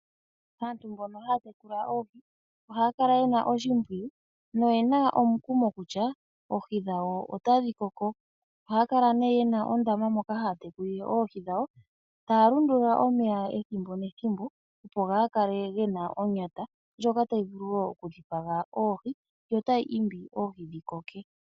Aantu mbono haya tekula oohi ohaya kala yena oshimpwiyu noyena omukumo kutya oohi dhawo otadhi koko. Ohaya kala yena ondama moka haya tekulile oohi dhawo taya lundulula omeya ethimbo nethimbo opo ga kale gena onyata ndyoka tayi vulu okudhipaga oohi yo tayiimbi oohi dhi koke.